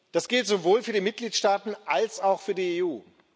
Das gilt sowohl für die Mitgliedstaaten als auch für die EU.